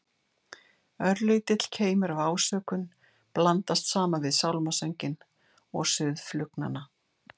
Örlítill keimur af ásökun blandast saman við sálmasönginn og suð flugnanna.